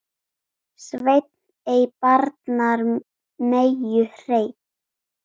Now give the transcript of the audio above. Sveinn ei barnar meyju hreinn.